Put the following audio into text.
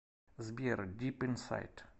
сбер дип инсайд